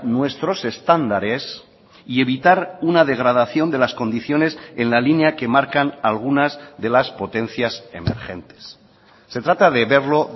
nuestros estándares y evitar una degradación de las condiciones en la línea que marcan algunas de las potencias emergentes se trata de verlo